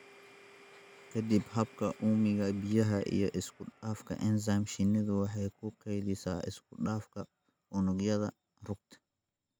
Ka dib habka uumiga biyaha iyo isku dhafka enzyme, shinnidu waxay ku kaydisaa isku dhafka unugyada rugta.